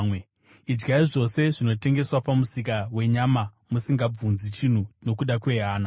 Idyai zvose zvinotengeswa pamusika wenyama musingabvunzi chinhu nokuda kwehana,